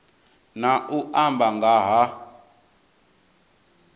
na u amba nga ha